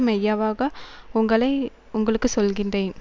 மெய்யாவாக உங்களை உங்களுக்கு சொல்லுகிறேன்